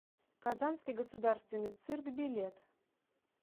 казанский государственный цирк билет